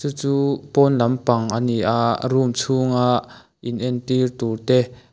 chu pawn lampang a ni a room chhunga inentir tur te--